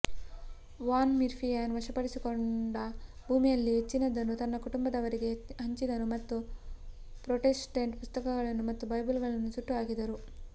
von Firmian ವಶಪಡಿಸಿಕೊಂಡ ಭೂಮಿಯಲ್ಲಿ ಹೆಚ್ಚಿನದನ್ನು ತನ್ನ ಕುಟುಂಬದವರಿಗೆ ಹಂಚಿದನು ಮತ್ತು ಪ್ರೊಟೆಸ್ಟೆಂಟ್ರ ಪುಸ್ತಕಗಳು ಮತ್ತು ಬೈಬಲ್ಗಳನ್ನು ಸುಟ್ಟುಹಾಕಿದರು